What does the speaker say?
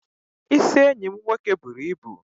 Isi enyi m nwoke buru ibu.